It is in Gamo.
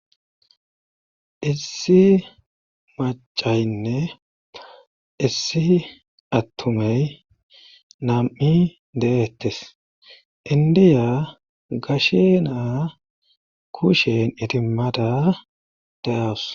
Issi macaynne issi attumay nam7i deettes. indiya gashe naa kushen itimmada deawus.